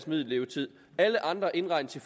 middellevetid alle andre indregnes i